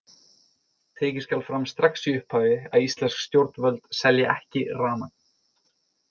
Tekið skal fram strax í upphafi að íslensk stjórnvöld selja ekki rafmagn.